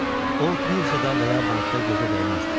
O, birjada və ya bankda gözə dəyməzdi.